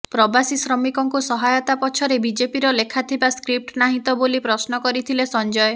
ପ୍ରବାସୀ ଶ୍ରମିକଙ୍କୁ ସହାୟତା ପଛରେ ବିଜେପିର ଲେଖାଥିବା ସ୍କ୍ରିପ୍ଟ ନାହିଁ ତ ବୋଲି ପ୍ରଶ୍ନ କରିଥିଲେ ସଞ୍ଜୟ